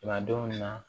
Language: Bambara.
don min na